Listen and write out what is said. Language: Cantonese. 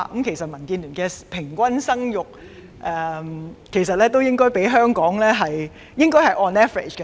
其實，民建聯的平均生育率相對於香港的數字，應該是 on average。